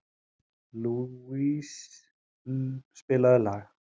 Lousie, spilaðu lag.